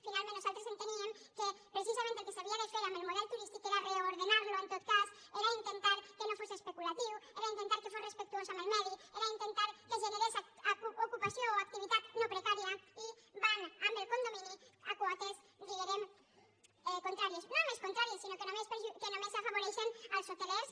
finalment nosaltres enteníem que precisament el que s’havia de fer amb el model turístic era reordenar lo en tot cas era intentar que no fos especulatiu era intentar que fos respectuós amb el medi era intentar que generés ocupació o activitat no precària i van amb el condomini a quotes diguérem contràries no només contràries sinó que només afavoreixen els hotelers